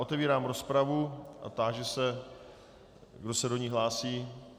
Otevírám rozpravu a táži se, kdo se do ní hlásí.